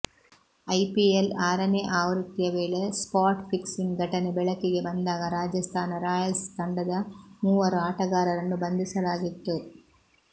IPL ಆರನೇ ಆವೃತ್ತಿಯ ವೇಳೆ ಸ್ಪಾಟ್ ಫಿಕ್ಸಿಂಗ್ ಘಟನೆ ಬೆಳಕಿಗೆ ಬಂದಾಗ ರಾಜಸ್ತಾನ ರಾಯಲ್ಸ್ ತಂಡದ ಮೂವರು ಆಟಗಾರರನ್ನು ಬಂಧಿಸಲಾಗಿತ್ತು